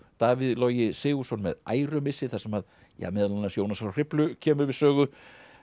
Davíð Logi Sigurðsson með ærumissi þar sem meðal annars Jónas frá Hriflu kemur við sögu